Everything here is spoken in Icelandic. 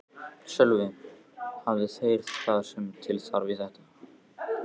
Sölvi: Hafa þeir það sem til þarf í þetta?